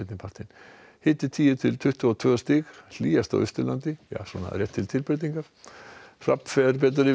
partinn hiti tíu til tuttugu og tvö stig hlýjast á Austurlandi svona til tilbreytingar hrafn fer betur yfir